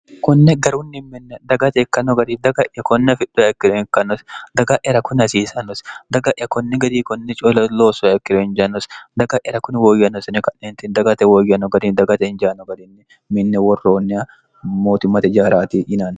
konne garunni minne dagate ikkanno gari daga'ya konnafidhoekkiro inkannosi daga'yara kuni hasiisannosi daga'ya konne gari konne colo loossoekkiro injannosi daga'yera kuni wooyyannosine ka'neenti dagate wooyyanno gari dagate injaano garinni minni worroonniya mootummate jaaraati yinano